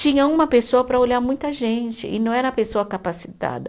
Tinha uma pessoa para olhar muita gente e não era a pessoa capacitada.